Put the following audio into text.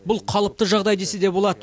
бұл қалыпты жағдай десе де болады